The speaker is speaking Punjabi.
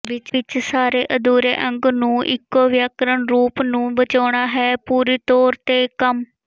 ਵਿਚ ਸਾਰੇ ਅਧੂਰੇ ਅੰਗ ਇੱਕੋ ਵਿਆਕਰਣ ਰੂਪ ਨੂੰ ਬਚਾਉਣਾ ਹੈ ਅਤੇ ਪੂਰੀ ਤੌਰ ਤੇ ਕੰਮ